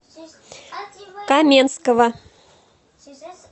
каменского